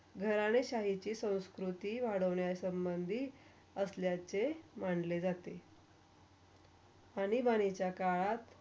घराने शाहीची संस्कृती वडोण्याच्या संबंधीत असल्याचे मानले जाते आणि भाणीच्या काळात.